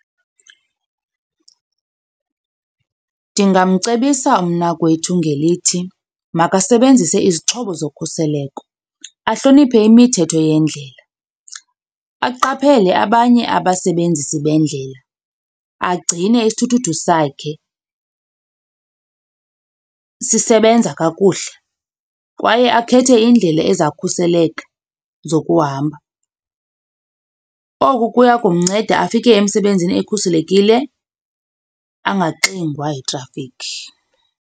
Ndingamcebisa umnakwethu ngelithi makasebenzise izixhobo zokhuseleko, ahloniphe imithetho yendlela, aqaphele abanye abasebenzisi bendlela, agcine isithuthuthu sakhe sisebenza kakuhle kwaye akhethe indlela ezawukhuseleka zokuhamba. Oku kuya kumnceda afike emsebenzini ekhuselekile, angaxingwa yitrafikhi.